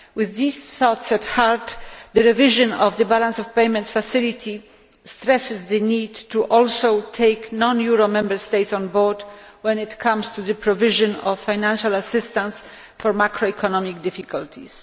With these thoughts at heart, the revision of the balance of payments facility stresses the need to also take non euro Member States on board when it comes to the provision of financial assistance for macroeconomic difficulties.